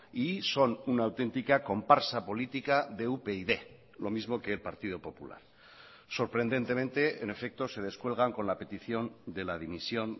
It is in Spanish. y son una auténtica comparsa política de upyd lo mismo que el partido popular sorprendentemente en efecto se descuelgan con la petición de la dimisión